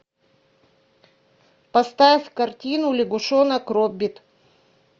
поставь картину лягушонок роббит